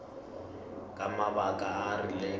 ka mabaka a a rileng